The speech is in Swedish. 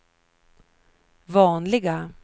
vanliga